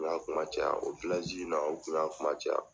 U y'a kuma caya, o in na, u kun y'a kuma caya.